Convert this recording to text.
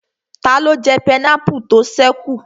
Taló jẹ pineapple tó ṣẹ́ kù?